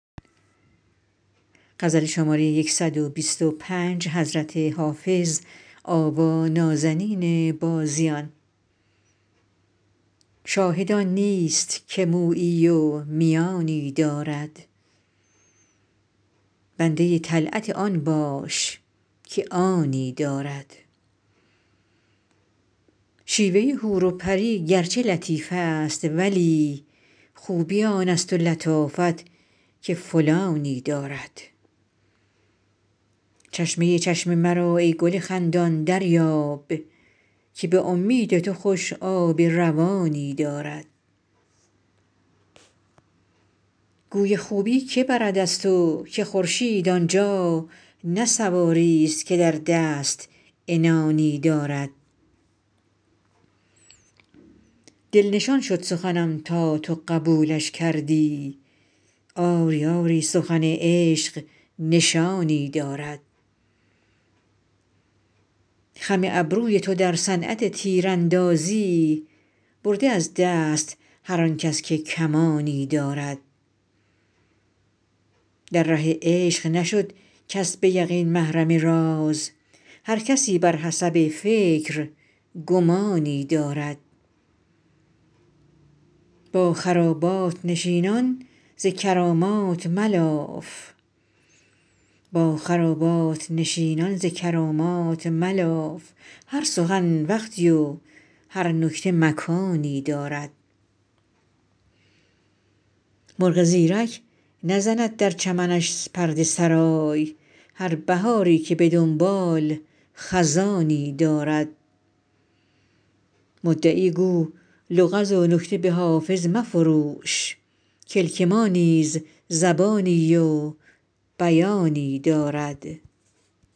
شاهد آن نیست که مویی و میانی دارد بنده طلعت آن باش که آنی دارد شیوه حور و پری گرچه لطیف است ولی خوبی آن است و لطافت که فلانی دارد چشمه چشم مرا ای گل خندان دریاب که به امید تو خوش آب روانی دارد گوی خوبی که برد از تو که خورشید آن جا نه سواریست که در دست عنانی دارد دل نشان شد سخنم تا تو قبولش کردی آری آری سخن عشق نشانی دارد خم ابروی تو در صنعت تیراندازی برده از دست هر آن کس که کمانی دارد در ره عشق نشد کس به یقین محرم راز هر کسی بر حسب فکر گمانی دارد با خرابات نشینان ز کرامات ملاف هر سخن وقتی و هر نکته مکانی دارد مرغ زیرک نزند در چمنش پرده سرای هر بهاری که به دنباله خزانی دارد مدعی گو لغز و نکته به حافظ مفروش کلک ما نیز زبانی و بیانی دارد